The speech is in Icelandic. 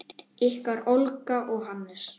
Ykkar Olga og Hannes.